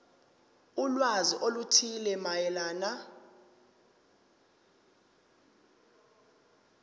ulwazi oluthile mayelana